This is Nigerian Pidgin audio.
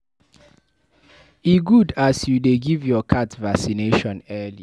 E good as you dey give your cat vaccination early.